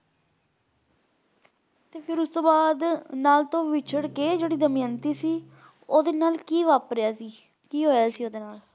ਤੇ ਫਿਰ ਉਸਤੋਂ ਬਾਅਦ ਨਲ ਤੋਂ ਵਿੱਛੜ ਕੇ ਜਿਹੜੀ ਦਮਯੰਤੀ ਸੀ ਓਹਦੇ ਨਾਲ ਕੀ ਵਾਪਰਿਆ ਸੀ ਕੀ ਹੋਇਆ ਸੀ ਓਹਦੇ ਨਾਲ?